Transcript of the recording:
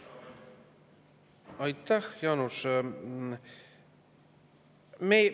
Aitäh, Jaanus!